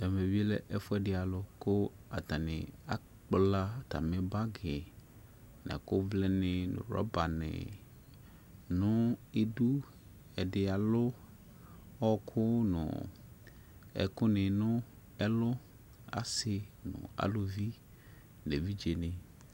Ɛvɛ bi lɛ ɛfu ɛdi alu ku atani akpla atami bagi yɛ nu ɛkuduni nu rɔbani nu idu ɛdi alu ɔwɔku nu ɛkuni nu ɛlu asi nu eluvi nu evidzeni